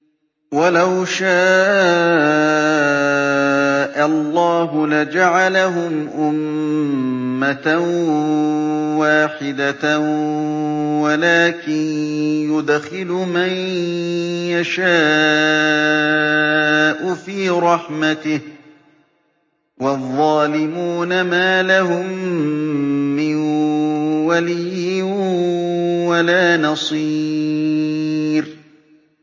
وَلَوْ شَاءَ اللَّهُ لَجَعَلَهُمْ أُمَّةً وَاحِدَةً وَلَٰكِن يُدْخِلُ مَن يَشَاءُ فِي رَحْمَتِهِ ۚ وَالظَّالِمُونَ مَا لَهُم مِّن وَلِيٍّ وَلَا نَصِيرٍ